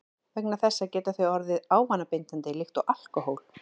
Vegna þessa geta þau orðið ávanabindandi líkt og alkóhól.